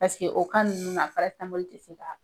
o ninnu na tɛ foyi k'a la.